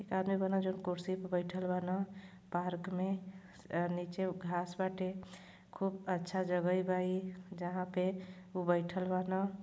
एक आदमी बना जो कुर्सी पर बइठल बा न पार्क में नीचे घाँस बाटे खूब अच्छा जगहइ बा ई जहाँ पे उ बइठल बा न --